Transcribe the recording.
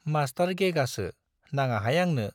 Master गेगासो, नाङाहाय आंनो।